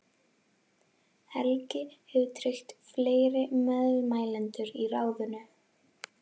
Helgi hefur tryggt fleiri meðmælendur í ráðinu.